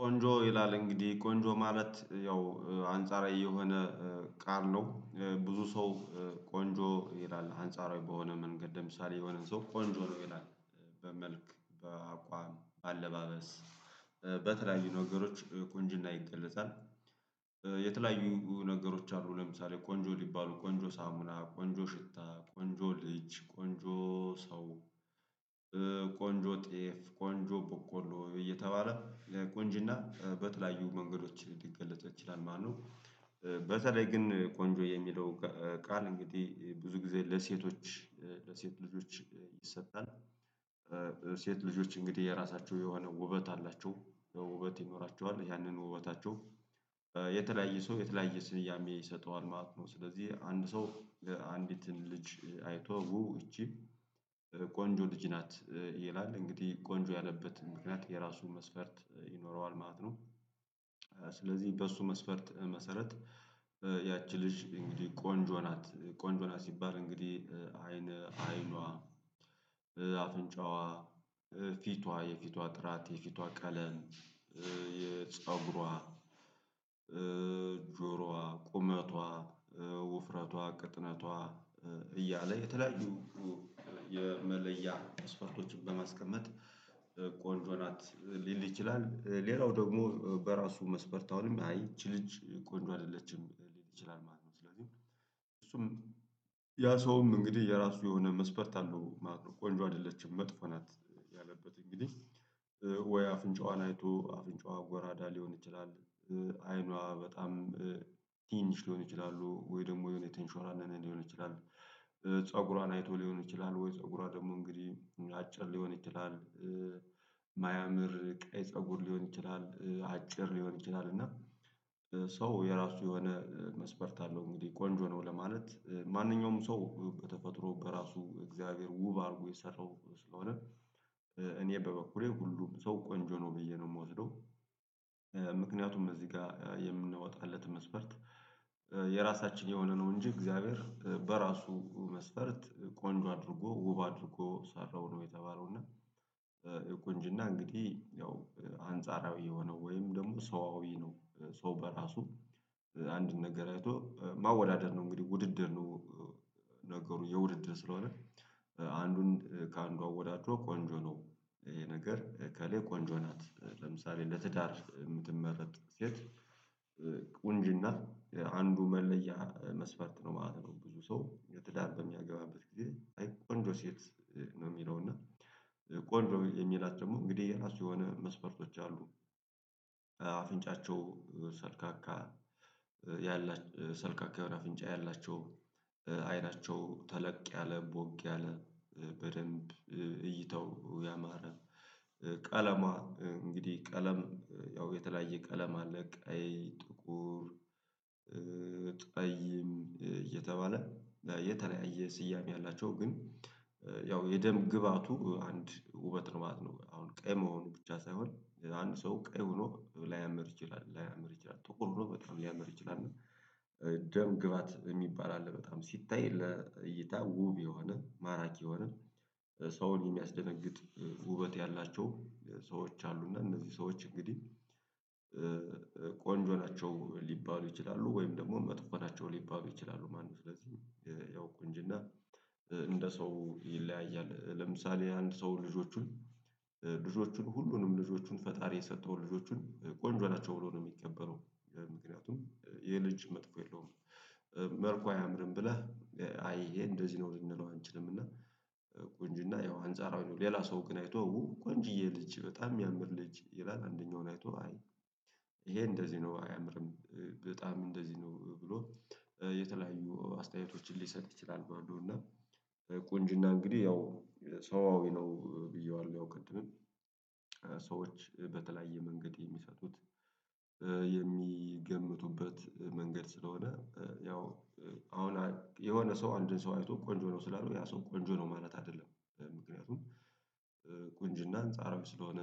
ቆንጆ ይላል እንግዲህ ቆንጆ ማለት ያው አንጻራዊ የሆነ ቃል ነው። ብዙ ሰው ቆንጆ ይላል አንጻራዊ በሆነ መንገድ ለምሳሌ የሆነን ሰው ቆንጆ ነው ይላል በአቋም በአለባበስ በተለያዩ ነገሮች ቁንጅና ይገለጻል። የተለያዩ ነገሮች አሉ ለምሳሌ ቆንጆ ሊባሉ ቆንጆ ሳሙና ቆንጆ ሽታ ቆንጆ ልጅ ቆንጆ ሰው ቆንጆ ጤፍ ቆንጆ ቦቆሎ እየተባለ ቆንጅና በተለያዩ መንገዶች ሊገለጸው ይችላል። ማነው በተለይ ግን ቆንጆ የሚለው ቃል እንግዲህ ብዙ ጊዜ ለሴቶች ለሴት ልጆች ይሰጣል። ልጆች እንግዲህ የራሳቸው የሆነ ውበት አላቸው ውበት ይኖራቸዋል ያንን ውበታቸው የተለያየ ሰው የተለያየ ስያሜ ይሰጠዋል ማለት ነው። ስለዚህ አንድ ሰው አንዲትን ልጅ አይቶ እቺ ቆንጆ ልጅ ናት ይላል እንግዲህ ቆንጆ ያለበት ምክንያት የራሱን ይኖረዋል ማለት ነው። ስለዚህ በሱ መስፈርት መሰረት ያቺ ልጅ እንግዲህ ቆንጆ ናት ቆንጆ ናት ሲባል እንግዲህ አይን አይኗ አፍንጫዋ ፊቷ የፊቷ ጥራት የፊቷ ቀለም የፀጉሯ ጆሮዋ ቁመቷ ውፍረቷ ቅጥነቷ እያለ የተለያዩ የመለያ ተስፋዎችን በማስቀመጥ ቆንጆ ናት ሊል ይችላል። ሌላው ደግሞ በራሱ መስፈርት አሁንም አይችልም ቆንጆ አይደለችም ሊል ይችላል ማለት ነው። ስለዚህ እሱም ያ ሰውም እንግዲህ የራሱ የሆነ መስፈርት አለው ማለት ነው። ቆንጆ አይደለችም መጥፎ ናት ያለበት እንግዲህ ወይ አፍንጫዋን አይቶ አፍንጫዋ ጎራዳ ሊሆን ይችላል አይኗ በጣም ትንሽ ሊሆን ይችላሉ። ወይ ደግሞ የሆነ የተንሿረረ ሊሆን ይችላል ፀጉሯን አይቶ ሊሆን ይችላል ወይ ፀጉሯ ደግሞ እንግዲህ ምላጭ ሊሆን ይችላል። ማያምር ቀይ ፀጉር ሊሆን ይችላል አጭር ሊሆን ይችላል እና ሰው የራሱ የሆነ መስፈርት አለው እንግዲህ ቆንጆ ነው ለማለት ማንኛውም ሰው በተፈጥሮ በራሱ እግዚአብሔር ውብ አድርጎ የሰራው ስለሆነ እኔ በበኩሌ ሁሉም ሰው ቆንጆ ነው ብዬ ነው የምወስደው። ምክንያቱም እዚህ ጋር የምንወጣለት መስፈርት የራሳችን የሆነ ነው እንጂ እግዚአብሔር በራሱ መስፈርት ቆንጆ አድርጎ ውብ አድርጎ ሰራው ነው የተባለው እና ቁንጅና እንግዲህ ያው አንጻራዊ የሆነው ወይም ደግሞ ሰዋዊ ነው ሰው በራሱ አንድን ነገር አይቶ ማወዳደር ነው እንግዲህ ውድድር ነው። ነገሩ የውድድር ስለሆነ አንዱን ከአንዱ አወዳድሮ ቆንጆ ነው ይሄ ነገር እከሌ ቆንጆ ናት ለምሳሌ ለትዳር የምትመረጥ ሴት ቁንጅና አንዱ መለያ መስፈርት ነው ማለት ነው። ብዙ ሰው የትዳር በሚያገባበት አይ ቆንጆ ሴት ነው የሚለው እና ቆንጆ የሚላት ደግሞ እንግዲህ የራሱ የሆነ መስፈርቶች አሉ። አፍንጫቸው ሰልካካ ያላቸው ሰልካካ አፍንጫ ያላቸው አይናቸው ተለቅ ያለ ቦግ ያለ በደንብ እይተው ያማረ ቀለሟ እንግዲህ ቀለም ያው የተለያየ ቀለም ለቀይ ጥቁር ጠይም እየተባለ የተለያየ ስያሜ አላቸው ግን ያው የደም ግብአቱ አንድ ውበት ነው ማለት ነው። አሁን ቀይ መሆኑ ብቻ ሳይሆን አንድ ሰው ቀይ ሆኖ ላያምር ይችላል ላያምር ይችላል ጥቁር ሆኖ በጣም ሊያምር ይችላል እና ደም ግባት የሚባል አለ በጣም ሲታይ ለእይታ ውብ የሆነ ማራኪ የሆነ ሰውን የሚያስደነግጥ ውበት ያላቸው ሰዎች አሉ እና እነዚህ ሰዎች እንግዲህ ቆንጆ ናቸው ሊባሉ ይችላሉ ወይም ደግሞ መጥፎ ናቸው ሊባሉ ይችላሉ። ማነው ስለዚህ ያው ቆንጅና እንደ ሰው ይለያያል ለምሳሌ አንድ ሰው ልጆቹን ልጆቹን ሁሉንም ልጆቹን ፈጣሪ የሰጠውን ልጆቹን ቆንጆ ናቸው ብሎ ነው የሚቀበለው ምክንያቱም ይሄ ልጅ መጥፎ የለውም። መልኩ አያምርም ብለህ አይ ይሄ እንደዚህ ነው ልንለው አንችልም እና ቆንጅና ያው አንፃራውን ሌላ ሰው ግን አይቶ ቆንጅዬ ልጅ በጣም የሚያምር ልጅ ይላል አንደኛውን አይቶ አይ ይሄ እንደዚህ ነው አያምርም በጣም እንደዚህ ነው ብሎ የተለያዩ አስተያየቶችን ሊሰጥ ይችላል። ባሉ እና ቆንጅና እንግዲህ ያው ሰዋዊ ነው ብዬዋለሁ ያው ቅድምም ሰዎች በተለያየ መንገድ የሚሰጡት የሚገምቱበት መንገድ ስለሆነ ያው አሁን የሆነ ሰው አንድን ሰው አይቶ ቆንጆ ነው ስላሉ ያ ሰው ቆንጆ ነው ማለት አይደለም። ምክንያቱም አንጻራዊ ስለሆነ